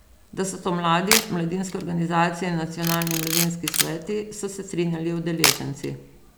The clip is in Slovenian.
Da so to mladi, mladinske organizacije in nacionalni mladinski sveti, so se strinjali udeleženci.